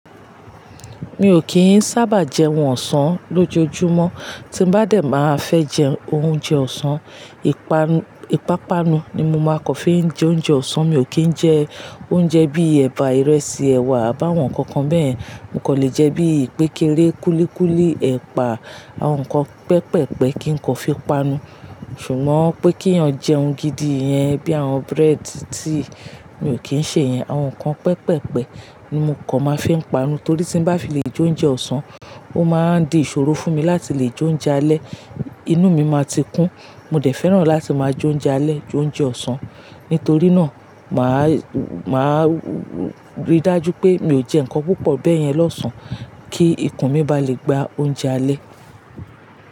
Mi ò kí ń sábà jẹ́un ọ̀sán lójoojúmọ́. Tí n bá dẹ̀ máa fẹ́ jẹ oúnjẹ ọ̀sán, ìpanu, ìpápanu ni mo máa kọ́ fi jẹ oúnjẹ ọ̀sán. Mi ò kí ń jẹ oúnjẹ bí ẹ̀bà, ìrẹsì, ẹ̀wà àbáwọn kankan bẹ́ẹ̀. Mo kan lè jẹ bí ìpékeré, kúlíkúlí, ẹ̀pà, àwọn nǹkan pẹpẹpẹ kí n kọ́ fi panu. Ṣùgbọ́n pé kí eyàn jẹ ohun gidi yẹn bí àwọn bread, tea tí mi ò kí ń ṣe yẹn. Àwọn nǹkan pẹpẹpẹ ni mo kọ́ máa fi ń panu torí tí bá fi lè jẹ oúnjẹ ọ̀sán, ó máa di ìṣòro fún mi láti lè jẹ oúnjẹ alẹ́. Inú mi máa ti kún. Mo dẹ̀ fẹ́ràn láti máa jẹ oúnjẹ alẹ́, oúnjẹ ọ̀sán. Nítorí náà, màá, màá rí dájú pé mi ò jẹ́ nǹkan púpọ̀ bẹ́yẹn lọ́sàn án kí ikùn mi bá lè gba oúnjẹ alẹ́.